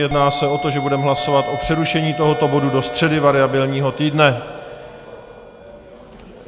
Jedná se o to, že budeme hlasovat o přerušení tohoto bodu do středy variabilního týdne.